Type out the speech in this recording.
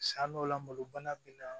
San dɔw la malo bana bi na